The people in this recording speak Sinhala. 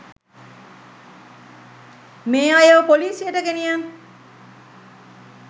මේ අයව පොලිසියට ගෙනි යන්න